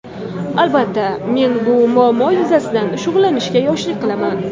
Albatta, men bu muammo yuzasidan shug‘ullanishga yoshlik qilaman.